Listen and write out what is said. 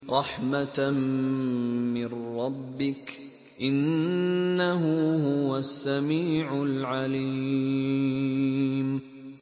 رَحْمَةً مِّن رَّبِّكَ ۚ إِنَّهُ هُوَ السَّمِيعُ الْعَلِيمُ